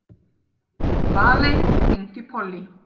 Valey, hringdu í Pollý.